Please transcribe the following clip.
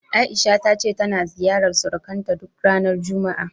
A'isha ta ce tana ziyarar surukanta duk ranar juma'a.